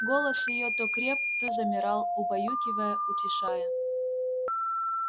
голос её то креп то замирал убаюкивая утешая